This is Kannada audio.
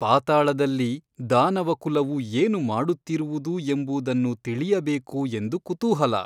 ಪಾತಾಳದಲ್ಲಿ ದಾನವಕುಲವು ಏನು ಮಾಡುತ್ತಿರುವುದು ಎಂಬುದನ್ನು ತಿಳಿಯಬೇಕು ಎಂದು ಕೂತೂಹಲ.